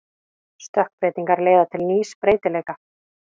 Stökkbreytingar leiða til nýs breytileika.